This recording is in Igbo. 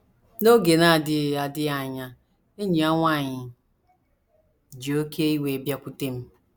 N’oge na - adịghị adịghị anya, enyi ya nwanyị ji oké iwe bịakwute m.